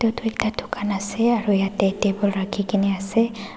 edu tu ekta dukan ase aro yatae table rakhikaena ase.